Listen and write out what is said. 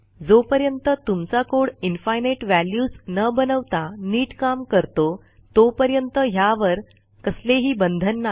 जोपर्यंत तुमचा code infinite values न बनवता नीट काम करतो तोपर्यंत ह्यावर कसलेही बंधन नाही